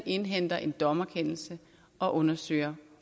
indhente en dommerkendelse og undersøge